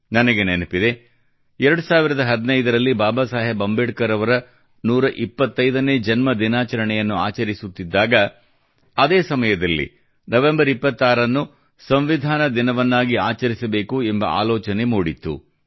ನನಗೆ ನೆನಪಿದೆ 2015ರಲ್ಲಿ ಬಾಬಾ ಸಾಹೇಬ್ ಅಂಬೇಡ್ಕರ್ ಅವರ 125ನೇ ಜನ್ಮದಿನಾಚರಣೆಯನ್ನು ಆಚರಿಸುತ್ತಿದ್ದಾಗ ಅದೇ ಸಮಯದಲ್ಲಿ ನವೆಂಬರ್ 26ನ್ನು ಸಂವಿಧಾನ ದಿನವನ್ನಾಗಿ ಆಚರಿಸಬೇಕು ಎಂಬ ಆಲೋಚನೆ ಮೂಡಿತ್ತು